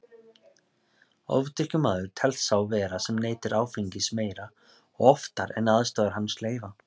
Ofdrykkjumaður telst sá vera sem neytir áfengis meira og oftar en aðstæður hans leyfa.